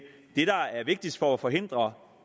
vigtigst for at forhindre